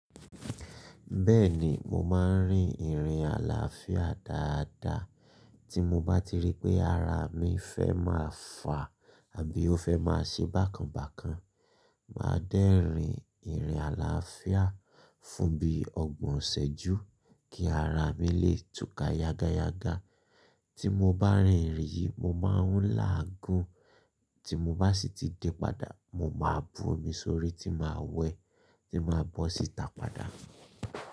Bẹ́ẹ̀ni, mo máa ń rin ìrìn àlàáfíà dáadáa. Tí mo bá ti rí pé ara mi fẹ́ máa fà àbí ó fẹ́ máa ṣe bákan bákan, màá dẹ́rin ìrìn àlàáfíà fún bí ọgbọ̀n isẹ̀jú kí ara mi lè túká yágáyágá. Tí mo bá rin ìrìn yìí mo máa ń láà gun. Tí mo bá sì ti dé padà mo máa bu omi sórí tí màá wẹ̀ tí màá bọ́ sì tà padà.